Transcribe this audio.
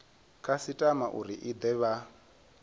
khasitama uri i de vha